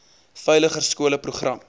veiliger skole program